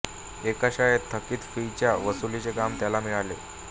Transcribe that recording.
एका शाळेत थकित फीच्या वसूलीचे काम त्याला मिळाले